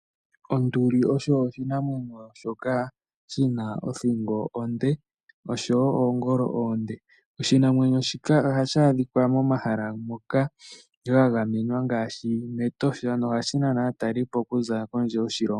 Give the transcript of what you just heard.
Onduli osho oshinamwenyo shoka shina othingo onde noongolo oonde. Oshinamwenyo shika ohashi adhika momahala moka mwa gamenwa ngaashi Etosha nohashi nana aatalelipo kuza kondje yoshilongo.